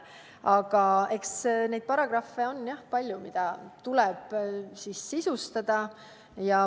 Aga eks neid paragrahve on palju, mida tuleb sisustada.